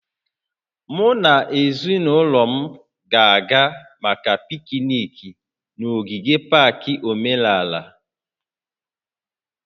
Mụ na ezinụlọ m ga-aga maka pikniiki n'ogige pak menala